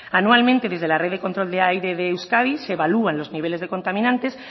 anualmente desde la red de control de aire de euskadi se evalúan los niveles de contaminantes